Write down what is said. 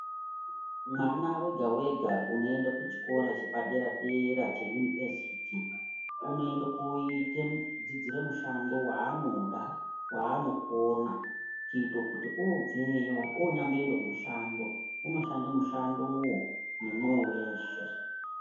Mwana vega-vega unoenda kuchikora chepadera-dera cheyunivhesiti. Unoende koite kudzidzira mushando vaanoda vaanokona kuite kuti obveyo unyamboende kumushando unoshande mushandovo nemwoyo veshe.